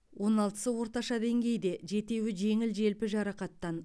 он алтысы орташа деңгейде жетеуі жеңіл желпі жарақаттан